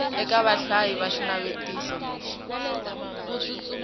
eka vahlayi va xinavetiso lexi